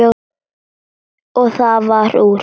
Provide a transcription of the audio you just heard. Og það varð úr.